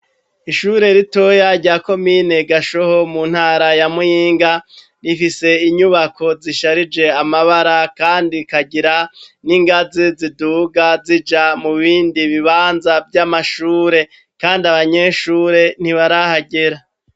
Ishure ritoya rya komine Gashoho mu ntara ya Muyinga, rifise inyubako zisharije amabara kandi rikagira n'ingazi ziduga zija mu bindi bibanza vy'amashure. Kandi abanyeshure ntibarahagera.